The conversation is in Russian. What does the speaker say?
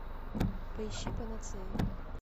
поищи панацея